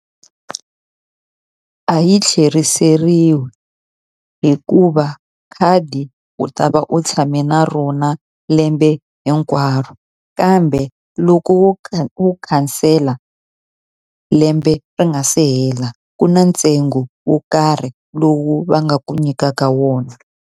A yi tlheriseriwi hikuva khadi u ta va u tshame na rona lembe hinkwaro. Kambe loko wo wu khansela lembe ri nga se hela, ku na ntsengo wo karhi lowu va nga ku nyikaka wona.